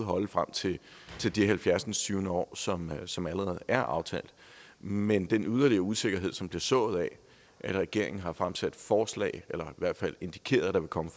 holde frem til det halvfjerdsindstyvende år som som allerede er aftalt men den yderligere usikkerhed som blev sået fordi regeringen har fremsat forslag eller i hvert fald indikeret at der vil komme